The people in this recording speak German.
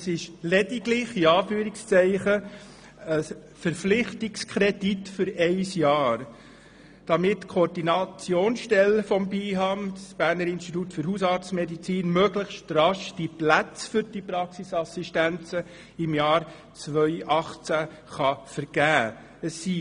Es ist «lediglich» ein Verpflichtungskredit für ein Jahr, damit die Koordinationsstelle des Berner Instituts für Hausarztmedizin (BIHAM) möglichst rasch die Plätze für die Praxisassistenzen im Jahr 2018 vergeben kann.